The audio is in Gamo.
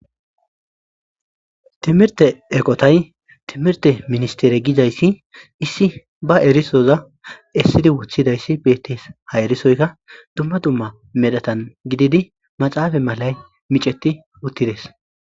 Timirte eqotay timirte ministere gidayssi issi ba erisoza essidi wuthidayssi bettees ha erisoykka dumma dumma medhatan gididi maxaafa malay miceti uttides.